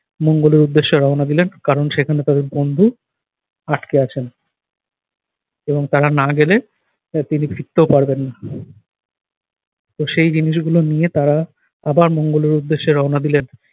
মঙ্গলের উদ্দেশ্যে রওনা দিলেন কারণ সেখানে তাদের বন্ধু আটকে আছেন। এবং তারা না গেলে আহ তিনি ফিরতেও পারবেন না। তো সেই জিনিসগুলো নিয়ে তারা আবার মঙ্গলের উদ্দেশ্যে রওনা দিলেন।